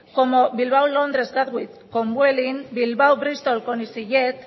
como bilbao londres gatwick con vueling bilbao bristol con easyjet